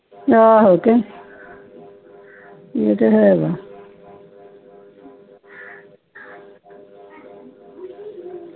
ਆਹੋ ਤੇ ਇਹ ਤੇ ਹੈ